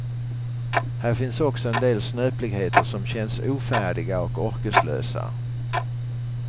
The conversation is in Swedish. Här finns också en del snöpligheter som känns ofärdiga och orkeslösa.